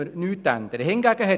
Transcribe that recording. Daran ändern wir nichts.